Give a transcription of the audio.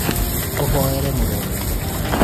ũhoere mũrũaru